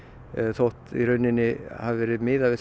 þótt hafi verið miðað við